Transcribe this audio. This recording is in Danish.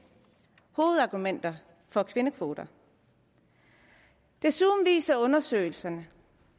hovedargumenter for kvindekvoter desuden viser undersøgelserne